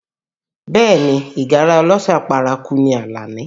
Bẹẹ ni, ìgárá ọlọ́ṣà paraku ni Alani